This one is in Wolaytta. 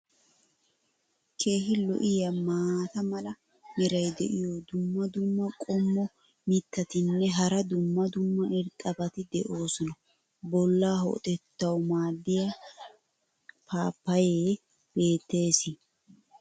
keehi lo'iya maata mala meray diyo dumma dumma qommo mitattinne hara dumma dumma irxxabati de'oosona. bolaa ho"otettawu maadiya paappayee beetees.